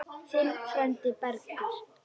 Þinn frændi, Bergur.